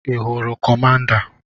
Ị hụrụ Kọmanda?